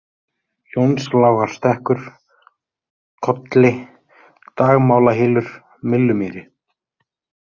Jónslágarstekkur, Kolli, Dagmálahylur, Myllumýri